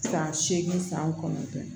San seegin san kɔnɔntɔn